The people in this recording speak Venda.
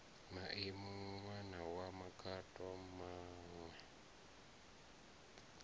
maemu ṋwana wa makhado maṋwe